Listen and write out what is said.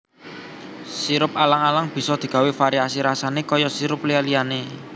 Sirup alang alang bisa digawé variasi rasané kaya sirup liya liyané